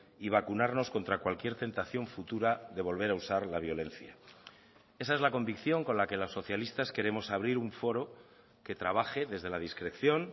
y vacunarnos contra cualquier tentación futura de volver a usar la violencia esa es la convicción con la que los socialistas queremos abrir un foro que trabaje desde la discreción